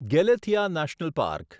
Galathea national park